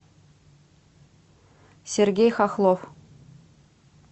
сергей хохлов